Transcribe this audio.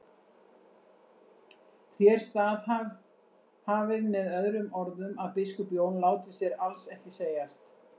Þér staðhæfið með öðrum orðum að biskup Jón láti sér alls ekki segjast.